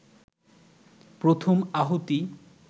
প্রথম আহুতি